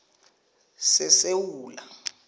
sesewula